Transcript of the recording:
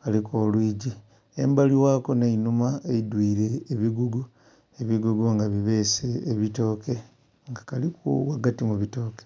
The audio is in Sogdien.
kalimu olwigii embali ghako nhe einhuma eidhwire ebigogo ebigogo nga bibese ebitooke nga kalimu ghagati mu bitooke.